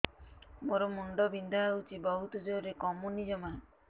ମୋର ମୁଣ୍ଡ ବିନ୍ଧା ହଉଛି ବହୁତ ଜୋରରେ କମୁନି ଜମା